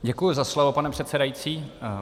Děkuji za slovo, pane předsedající.